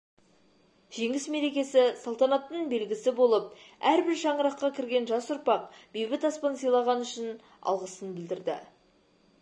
жеңіс мерекесі салтанаттың белгісі болып әрбір шаңыраққа кірген жас ұрпақ бейбіт аспан сыйлағаны үшін алғысын білдірді